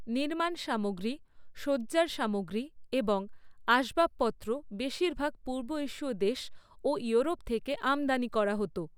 নির্মাণ সামগ্রী, সজ্জার সামগ্রী এবং আসবাবপত্র বেশিরভাগ পূর্ব এশীয় দেশ ও ইউরোপ থেকে আমদানি করা হত।